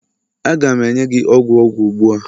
a ga m enye gi ogwu ogwu ugbua?